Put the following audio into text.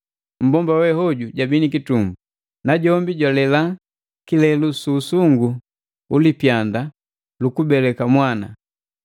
Mmbomba wehoju jwabi ni kitumbu, najombi jwalela kilelu su usungu ulipyanda lukubeleka mwana.